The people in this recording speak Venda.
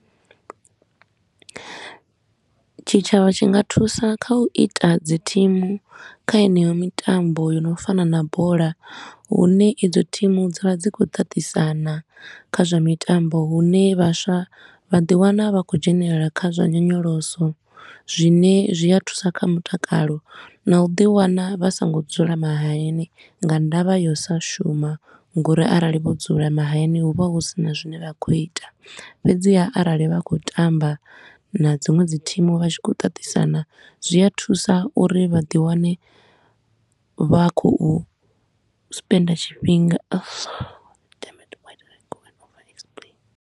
Tshitshavha tshi nga thusa kha u ita dzi thimu kha heneyo mitambo yo no fana na bola, hune idzo thimu dza vha dzi khou tatisana kha zwa mitambo. Hune vhaswa vha ḓi wana vha khou dzhenelela kha zwa nyonyoloso, zwine zwi a thusa kha mutakalo na u ḓi wana vha so ngo dzula mahayani nga ndavha ya u sa shuma. Nga uri arali vho dzula mahayani hu vha hu sina zwine vha khou ita, fhedzi haa, arali vha khou tamba na dziṅwe dzi thimu vha tshi khou tatisana zwi a thusa uri vha ḓi wane vha khou spender tshifhinga .